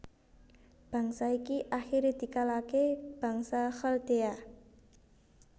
Bangsa iki akhire dikalahke bangsa Khaldea